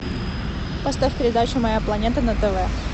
поставь передачу моя планета на тв